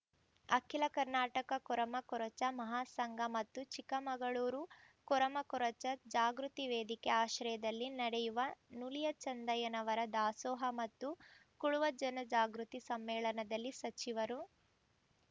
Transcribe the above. ಅಖಿಲ ಕರ್ನಾಟಕ ಕೊರಮಕೊರಚ ಮಹಾಸಂಘ ಮತ್ತು ಚಿಕ್ಕಮಗಳೂರು ಕೊರಮಕೊರಚ ಜಾಗೃತಿ ವೇದಿಕೆ ಆಶ್ರಯದಲ್ಲಿ ನಡೆಯುವ ನುಲಿಯ ಚಂದಯ್ಯನವರ ದಾಸೋಹ ಮತ್ತು ಕುಳುವ ಜನ ಜಾಗೃತಿ ಸಮ್ಮೇಳನದಲ್ಲಿ ಸಚಿವರು